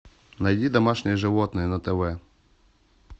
найди домашние животные на тв